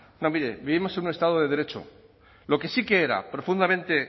mire vivimos en un estado de derecho lo que sí que era profundamente